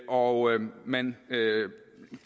og man